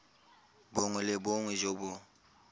bongwe le bongwe jo bo